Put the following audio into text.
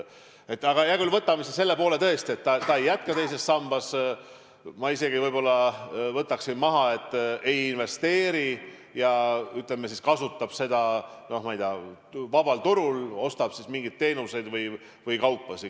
Hea küll, oletame siis, et inimene ei jätka teises sambas ja ei investeeri seda raha, vaid kasutab seda, noh, ma ei tea, vabal turul, ostab mingeid teenuseid või kaupasid.